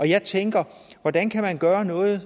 jeg tænker hvordan kan man gøre noget